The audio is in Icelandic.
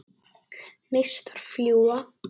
Neistar fljúga.